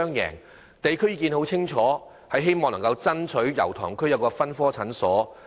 油塘區市民表明，希望在區內設立分科診所。